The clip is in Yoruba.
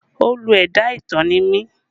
Olú ẹ̀dá ìtàn ni mí